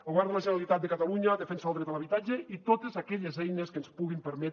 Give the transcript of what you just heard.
el govern de la generalitat de catalunya defensa el dret a l’habitatge i totes aquelles eines que ens puguin permetre